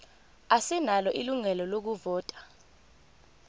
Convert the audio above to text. asinalo ilungelo lokuvota